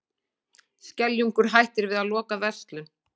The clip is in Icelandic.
Skeljungur hættir við að loka verslun